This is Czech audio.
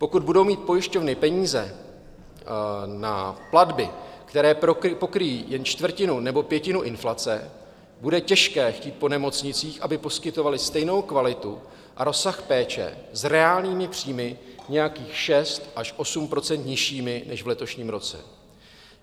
Pokud budou mít pojišťovny peníze na platby, které pokryjí jen čtvrtinu nebo pětinu inflace, bude těžké chtít po nemocnicích, aby poskytovaly stejnou kvalitu a rozsah péče s reálnými příjmy nějakých 6 až 8 % nižšími než v letošním roce.